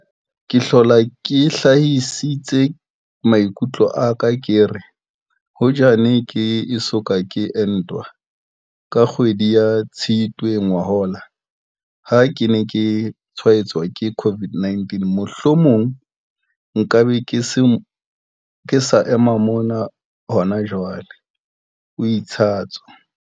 Ke hlola ke hlahisitse maikutlo a ka ke re, hoja ke ne ke eso ka ke entwa, ka kgwedi ya Tshitwe ngwahola ha ke ne ke tshwaetswa ke COVID-19, mohlomong nka be ke sa ema mona hona jwale, o itsatso.